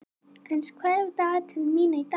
Ernst, hvað er á dagatalinu mínu í dag?